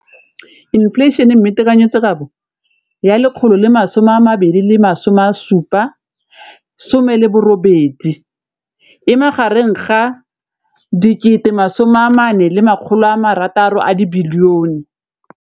Infleišene, mme tekanyetsokabo ya 2017, 18, e magareng ga R6.4 bilione.